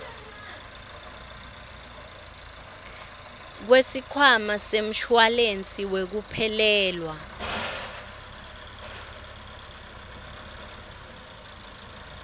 kwesikhwama semshuwalensi wekuphelelwa